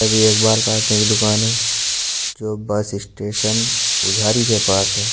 यह भी एक बाल काटने की दुकान है जो बस स्टेशन उधारी के पास है।